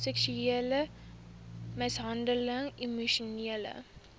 seksuele mishandeling emosionele